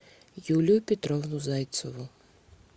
юлию петровну зайцеву